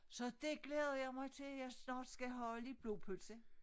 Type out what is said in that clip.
Så det glæder jeg mig til jeg snart skal have lidt blodpølse